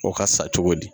O ka sa cogo di